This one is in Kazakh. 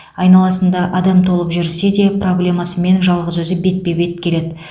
айналасында адам толып жүрсе де проблемасымен жалғыз өзі бетпе бет келеді